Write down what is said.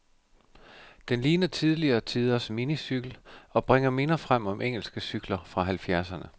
Den ligner tidligere tiders minicykel, og bringer minder frem om engelske cykler fra halvfjerdserne.